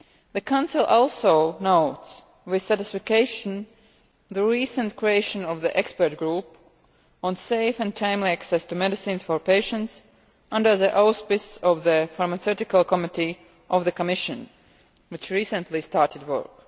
The Council also notes with satisfaction the recent creation of the Expert Group on Safe and Timely Access to Medicines for Patients under the auspices of the Pharmaceutical Committee of the Commission, which recently started work.